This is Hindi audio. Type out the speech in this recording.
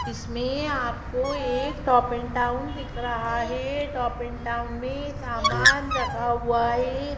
इसमें आपको एक टॉप एंड टाउन दिख रहा है टॉप एंड टाउन में सामान रखा हुआ है।